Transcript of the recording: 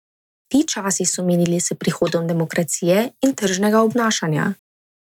Ti časi so minili s prihodom demokracije in tržnega obnašanja.